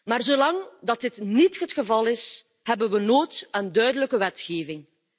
Maar zolang dit niet het geval is, hebben we nood aan duidelijke wetgeving.